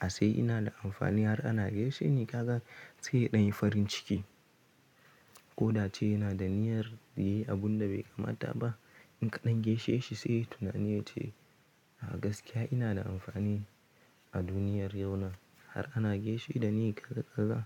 a sai ina da amfani har ana gesheni kaza sai ya ɗan yi farin ciki. Ko da ce yana da niyyar yayi abun da bai kamata ba in ka ɗan geshe shi sai tunani yace a gaskiya ina da amfani a duniyar yau na har ana geshe da ni kaza kaza.